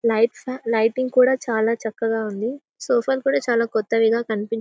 light lighting కూడా చాలా చక్కగా ఉంది సోఫా లు కూడా చాలా కొత్తవిగా కనిపిస్తు--